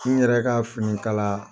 N yɛrɛ ka finikala